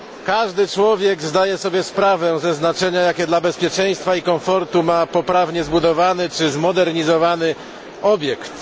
Każdy człowiek zdaje sobie sprawę ze znaczenia, jakie dla bezpieczeństwa i komfortu ma poprawnie zbudowany czy zmodernizowany obiekt.